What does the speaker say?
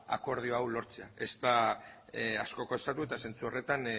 akordio hau lortzea ez da asko kostako eta zentzu horretan